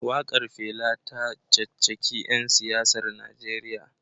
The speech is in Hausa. Wakar Fela ta caccaki 'yan siyasar Najeriya